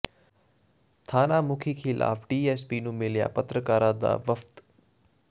ਥਾਣਾ ਮੁਖੀ ਖ਼ਿਲਾਫ਼ ਡੀਐੱਸਪੀ ਨੂੰ ਮਿਲਿਆ ਪੱਤਰਕਾਰਾਂ ਦਾ ਵਫ਼ਦ